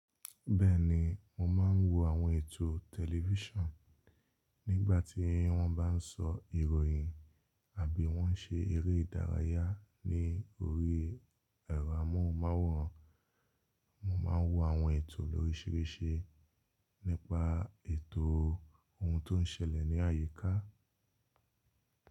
Bẹ́ẹ̀ni, mo máa ń wo àwọn ètò tẹlifíṣàn nígbà tí wọ́n bá ń sọ ìròyìn àbí wọ́n ń ṣe eré ìdárayá ní orí ẹ̀rọ amóhùnmáwòrán. Mo máa ń wo àwọn ètò lóríṣìíríṣìí, nípa ètò ohun tó ń ṣẹlẹ̀ ní àyíká.